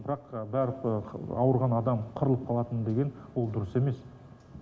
бірақ барлық ауырған адам қырылып қалатын деген ол дұрыс емес